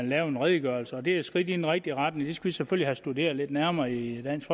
lave en redegørelse og det er et skridt i den rigtige retning vi skal selvfølgelig have studeret lidt nærmere i dansk